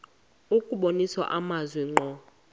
kubonisa amazwi ngqo